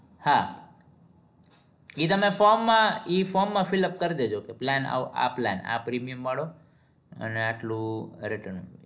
હા એ તમે from માં ઈ from માં filp કર દેજો તો plan આ plan આ premium વાળો અને આટલું